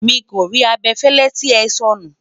miko rí abefele tí é sọnu